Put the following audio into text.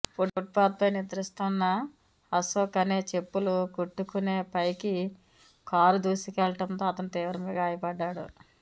పుట్పాత్పై నిద్రిస్తున్న అశోక్ అనే చెప్పులు కుట్టుకునే పైకి కారు దూసుకెళ్లడంతో అతను తీవ్రంగా గాయపడ్డాడు